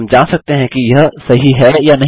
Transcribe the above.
हम जाँच सकते हैं कि यह सही है या नहीं